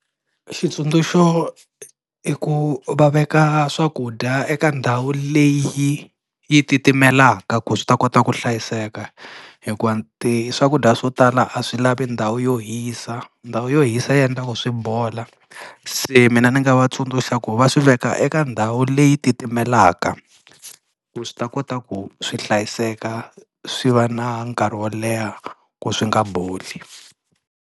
Xitsundzuxo i ku va veka swakudya eka ndhawu leyi yi titimelaka ku swi ta kota ku hlayiseka, hikuva ti swakudya swo tala a swi lavi ndhawu yo hisa, ndhawu yo hisa yi endlaku swi bola. Se mina ni nga va tsundzuxa ku va swiveka eka ndhawu leyi titimelaka ku swi ta kota ku swi hlayiseka swi va na nkarhi wo leha ku swi nga boli.